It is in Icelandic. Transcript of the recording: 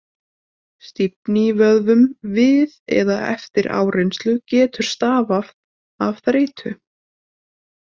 Stífni í vöðvum við eða eftir áreynslu getur stafað af þreytu.